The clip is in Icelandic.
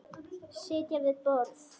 Sitja við borð